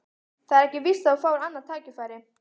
Það er ekkert víst að þú fáir annað tækifæri